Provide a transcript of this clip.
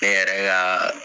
Ne yɛrɛ ka